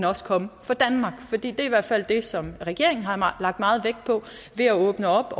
også komme fra danmark for det er i hvert fald det som regeringen har lagt meget vægt på ved at åbne op